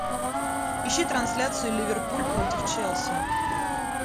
ищи трансляцию ливерпуль против челси